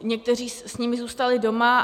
Někteří s nimi zůstali doma.